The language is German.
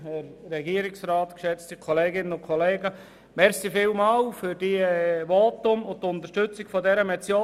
Ich danke Ihnen allen für Ihre Voten und die Unterstützung dieser Motion.